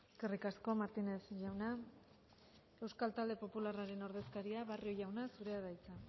eskerrik asko martínez jauna euskal talde popularraren ordezkaria barrio jauna zurea da hitza